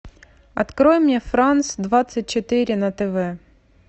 открой мне франс двадцать четыре на тв